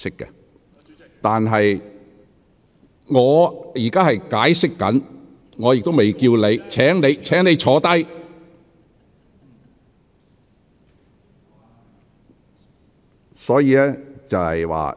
林卓廷議員，我正在解釋規程，亦未叫喚你發言，請你坐下。